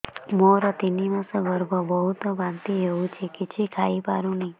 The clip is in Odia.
ମୋର ତିନି ମାସ ଗର୍ଭ ବହୁତ ବାନ୍ତି ହେଉଛି କିଛି ଖାଇ ପାରୁନି